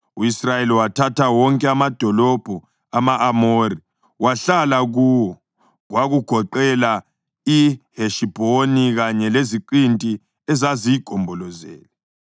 U-Israyeli wathatha wonke amadolobho ama-Amori wahlala kuwo, kwakugoqela iHeshibhoni kanye leziqinti ezaziyigombolozele.